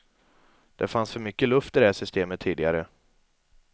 Det fanns för mycket luft i det här systemet tidigare.